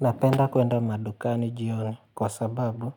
Napenda kuenda madukani jioni kwa sababu